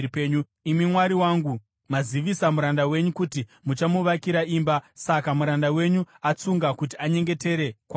“Imi Mwari wangu, mazivisa muranda wenyu kuti muchamuvakira imba. Saka muranda wenyu atsunga kuti anyengetere kwamuri.